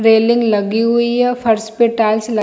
railing लगी हुई है फर्श पे टाइल्स लग--